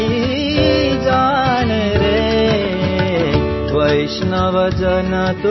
গীত